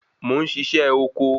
Mo ń sisẹ́ oko